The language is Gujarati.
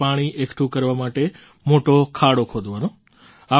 અર્થાત્ પાણી એકઠું કરવા માટે મોટો ખાડો ખોદવાનો